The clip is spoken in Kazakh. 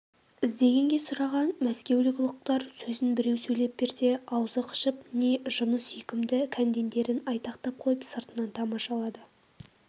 іздегенге сұраған мәскеулік ұлықтар сөзін біреу сөйлеп берсе аузы қышып не жыны сүйкімді кәндендерін айтақтап қойып сыртынан тамашалады